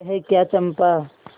यह क्या चंपा